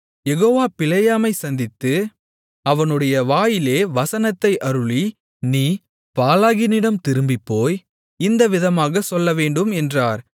யெகோவா பிலேயாமைச் சந்தித்து அவனுடைய வாயிலே வசனத்தை அருளி நீ பாலாகினிடம் திரும்பிப்போய் இந்த விதமாகச் சொல்லவேண்டும் என்றார்